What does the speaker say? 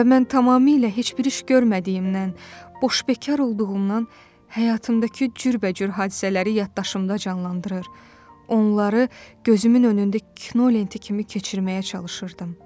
Və mən tamamilə heç bir iş görmədiyimdən, boşbekar olduğumdan həyatımdakı cürbəcür hadisələri yaddaşımda canlandırır, onları gözümün önündə kinolenti kimi keçirməyə çalışırdım.